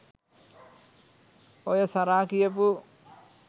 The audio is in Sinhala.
ඔය සරා කියපු